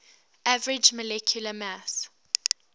average molecular mass